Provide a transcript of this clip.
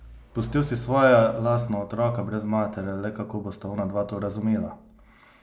Pustil si svoja lastna otroka brez matere, le kako bosta onadva to razumela?